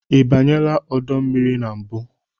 Ị banyela ọdọ mmiri na mbụ?